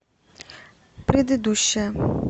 предыдущая